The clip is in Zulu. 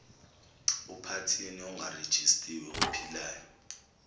uphathini ongarejistiwe ophilayo